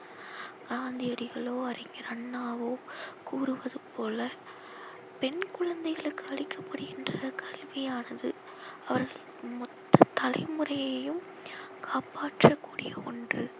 அறிஞர் அண்ணாவோ கூறுவது போல பெண் குழந்தைகளுக்கு அளிக்க படுகின்ற கல்வியானது அவர் மொத்த தலைமுறையையும் காப்பாற்ற கூடிய ஒன்று